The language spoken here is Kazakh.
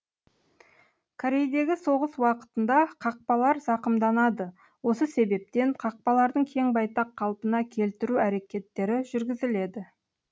корейдегі соғыс уақытында қақпалар зақымданады осы себептен қақпалардың кең байтақ қалпына келтіру әрекеттері жүргізіледі